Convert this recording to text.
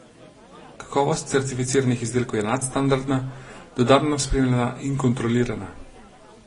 Kakovost certificiranih izdelkov je nadstandardna, dodatno spremljana in kontrolirana.